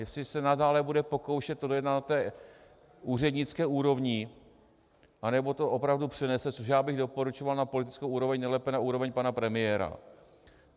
Jestli se nadále bude pokoušet to dojednat na té úřednické úrovni, anebo to opravdu přenese, což já bych doporučoval, na politickou úroveň, nejlépe na úroveň pana premiéra.